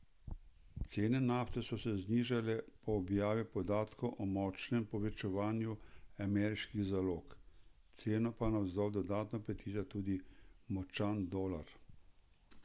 Cene nafte so se znižale po objavi podatkov o močnem povečanju ameriških zalog, ceno pa navzdol dodatno potiska tudi močan dolar.